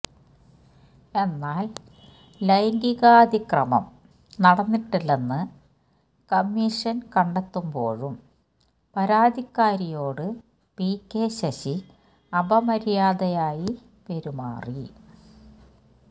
എന്നാല് ലൈംഗീകാതിക്രമം നടന്നിട്ടില്ലെന്ന് കമ്മീഷന് കണ്ടെത്തുമ്പോഴും പരാതിക്കാരിയോട് പി കെ ശശി അപമര്യാദയായി പെരുമാറി